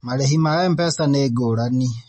Marĩhi ma MPESA nĩ ngũrani